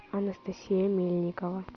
анастасия мельникова